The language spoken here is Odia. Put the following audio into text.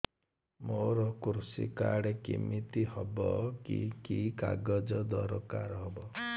ମୋର କୃଷି କାର୍ଡ କିମିତି ହବ କି କି କାଗଜ ଦରକାର ହବ